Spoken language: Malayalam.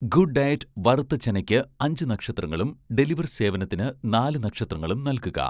ഗുഡ് ഡയറ്റ് വറുത്ത ചനയ്‌ക്ക് അഞ്ച് നക്ഷത്രങ്ങളും ഡെലിവർ സേവനത്തിന് നാല് നക്ഷത്രങ്ങളും നൽകുക